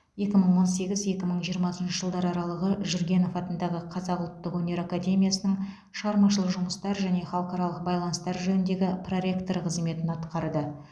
екі мың он сегіз екі мың жиырмасыншы жылдар аралығы жүргенов атындағы қазақ ұлттық өнер академиясының шығармашылық жұмыстар және халықаралық байланыстар жөніндегі проректоры қызметін атқарды